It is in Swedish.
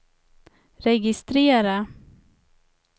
registrera